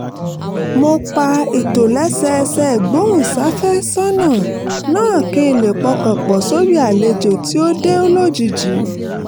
mo pa ìtòlẹ́sẹẹsẹ ìgbóhùnsáfẹ́sọ́nà náà kí n lè pọkàn pọ̀ sórí àlejò tí ó dé lójijì